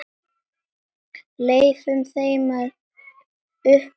Leyfum þeim að upplifa það.